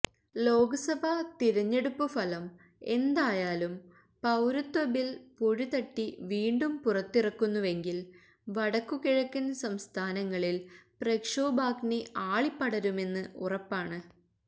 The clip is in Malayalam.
ലോക്സഭാ തിരഞ്ഞെടുപ്പ് ഫലം എന്തായാലും പൌരത്വ ബിൽ പൊടിതട്ടി വീണ്ടും പുറത്തിറക്കുന്നുവെങ്കിൽ വടക്കുകിഴക്കൻ സംസ്ഥാനങ്ങളിൽ പ്രക്ഷോഭാഗ്നി ആളിപ്പടരുമെന്ന് ഉറപ്പാണ്